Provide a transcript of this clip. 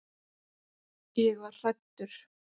Ég var hræddur.